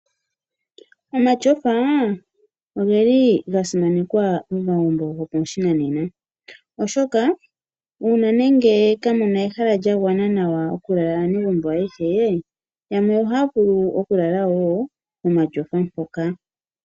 Omatyofa ogeli ga simanekwa momagumbo gopashinanena oshoka uuna nenge kamu na ehala lya gwana nawa okulala aanegumbo ayehe yamwe ohaya vulu wo okulala wo momatyofa mpoka.